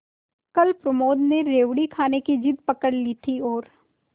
कल प्रमोद ने रेवड़ी खाने की जिद पकड ली थी और